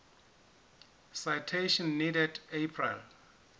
citation needed april